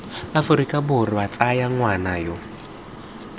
aforika borwa tsaya ngwana yo